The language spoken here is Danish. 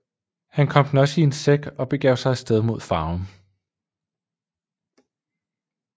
Han kom den i en sæk og begav sig af sted mod Farum